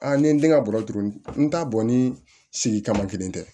Aa ni ye den ka bɔ tugunni n t'a bɔn ni sigi kama kelen tɛ